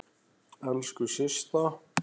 Elsku Systa.